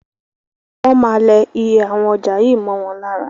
Wọ́n máa lẹ iye awon ọjà yìí mọ́ wọn lára.